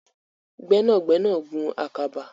Gbẹnagbẹna gùn ạkàbà.